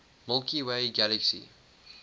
milky way galaxy